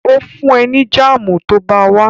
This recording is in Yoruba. Ó fún ẹ ní jáàmù tó bá wá